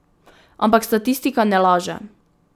Ampak statistika ne laže.